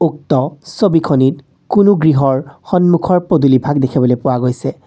উক্ত ছবিখনিত কোনো গৃহৰ সন্মুখৰ পদূলিভাগ দেখিবলৈ পোৱা গৈছে।